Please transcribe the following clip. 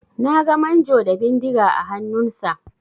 Na ga manjo da bindiga a hannunsa.